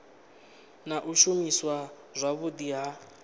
na u shumiswa zwavhudi ha